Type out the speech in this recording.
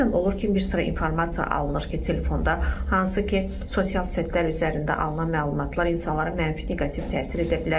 Bəzən olur ki, bir sıra informasiya alınır ki, telefonda hansı ki, sosial setlər üzərində alınan məlumatlar insanların mənfi, neqativ təsir edə bilər.